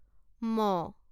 ম